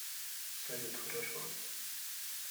салют хорошо